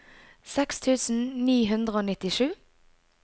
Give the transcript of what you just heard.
seks tusen ni hundre og nittisju